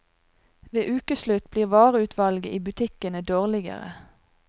Ved ukeslutt blir vareutvalget i butikkene dårligere.